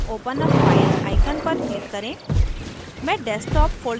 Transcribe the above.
tool bar में open a file icon पर click करें